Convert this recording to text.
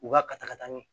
U ka ka taga n'u